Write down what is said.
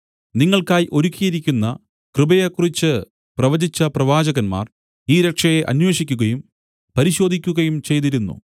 നിങ്ങൾക്കായി ഒരുക്കിയിരിക്കുന്ന കൃപയെക്കുറിച്ച് പ്രവചിച്ച പ്രവാചകന്മാർ ഈ രക്ഷയെ അന്വേഷിക്കുകയും പരിശോധിക്കുകയും ചെയ്തിരുന്നു